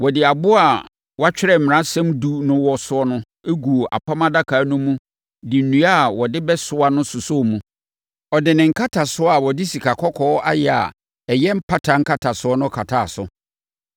Ɔde aboɔ a wɔatwerɛ Mmaransɛm Edu no wɔ so no guu Apam Adaka no mu de nnua a wɔdebɛsoa no sosɔɔ mu. Ɔde ne nkatasoɔ a wɔde sikakɔkɔɔ ayɛ a ɛyɛ mpata nkatasoɔ no kataa so.